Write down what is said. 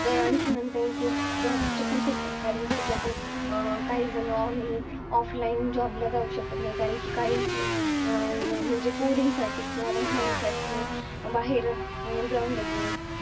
तर आणखी म्हणता येईल कि, job चे पण खूप प्रकार आहेत. जसे कि, काही जण online offline job ला जाऊ शकत नाही. कारण कि काहींची, अं म्हणजे पोरींसाठी, किंवा महिलांसाठी बाहेर अं जाऊन देत नाही.